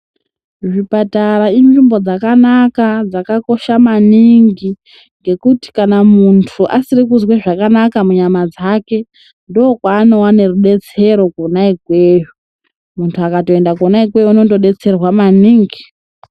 Zvipatara inzvimbo dzakanaka dzakakosha maningi, ngekuti kana muntu asiri kuzwe zvakanaka munyama dzake, ndokwaanowane rudetsero kwona ikweyo. Muntu akatoenda kwona ikweyo ,undodetserwa maningi.